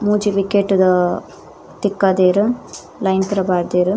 ಮೂಜಿ ವಿಕೆಟ್ ಗು ತಿಕ್ಕದೆರ್ ಲೈನ್ ಪೂರ ಪಾಡ್ದೆರ್.